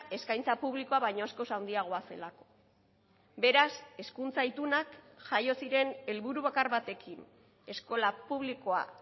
eskaintza publikoa baino askoz handiagoa zelako beraz hezkuntza itunak jaio ziren helburu bakar batekin eskola publikoa